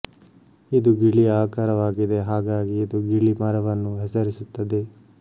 ಇದು ಗಿಳಿಯ ಆಕಾರವಾಗಿದೆ ಹಾಗಾಗಿ ಇದು ಗಿಳಿ ಮರವನ್ನು ಹೆಸರಿಸುತ್ತದೆ